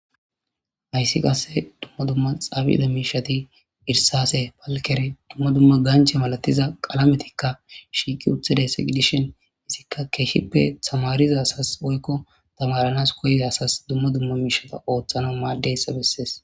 hayssi qasse dumma dumma xaabida miishati irsase palkere dumma dumma ganche malatiza qalametikka shiiqi uthiday seqidishin izikka keeshshippe tamariza asas oykko tamaranas koye asas dumma dumma miishata ooththana maaddeyssa bessees